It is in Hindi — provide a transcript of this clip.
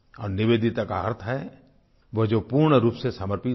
और निवेदिता का अर्थ है वो जो पूर्ण रूप से समर्पित हो